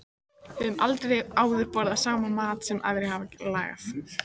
Höfum aldrei áður borðað saman mat sem aðrir hafa lagað.